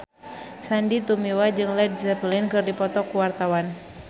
Sandy Tumiwa jeung Led Zeppelin keur dipoto ku wartawan